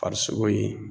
Farisogo ye